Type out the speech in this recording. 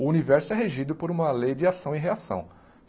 O universo é regido por uma lei de ação e reação.